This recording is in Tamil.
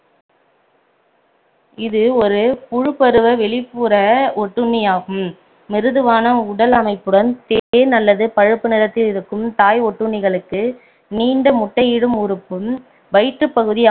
இது ஒரு புழுப்பருவ வெளிப்புற ஒட்டுண்ணியாகும் மிருதுவான உடல் அமைப்புடன் தேன் அல்லது பழுப்பு நிறத்தில் இருக்கும் தாய் ஒட்டுண்ணிகளுக்கு நீண்ட முட்டையிடும் உறுப்பும் வயிற்று பகுதி